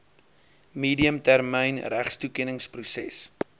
medium termyn regstoekenningsproses